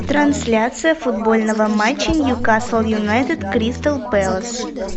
трансляция футбольного матча ньюкасл юнайтед кристал пэлас